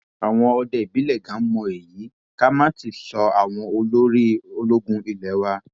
àwọn òde ìbílẹ ganan mọ èyí ká má tí ì sọ àwọn olórí ológun ilé wa